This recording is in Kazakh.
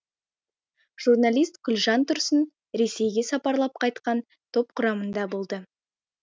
журналист гүлжан тұрсын ресейге сапарлап қайтқан топ құрамында болды